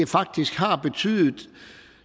faktisk betydet